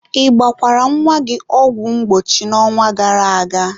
ị gbakwara nwa gị ọgwụ mgbochi n'ọnwa gara aga?